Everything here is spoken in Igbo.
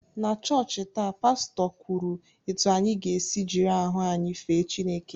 Na chọọchị taa, Pastọ kwuru etu anyị ga-esi jiri ahụ anyị fee Chineke